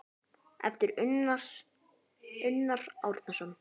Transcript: eftir Unnar Árnason